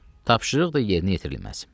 Tapşırıq da yerinə yetirilməz.